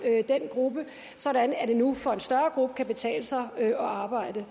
af den gruppe sådan at det nu for en større gruppe kan betale sig at arbejde